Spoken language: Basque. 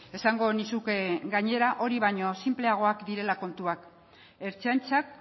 esango nizuke gainera hori baino sinpleagoak direla kontuak ertzaintzak